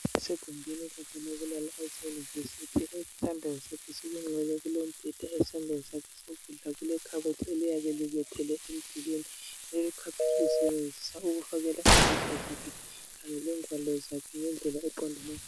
Kusegumbini lakhe leYunivesithi esandleni sakhe sokunxele kulombheda esandleni sakhe sokudla kulekhabothi eliyabe libethelwe emdulwini leli kabothi ukusebenzisa ukubekela impahla zakhe kanye lengwalo zakhe.